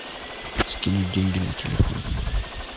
скинуть деньги на телефон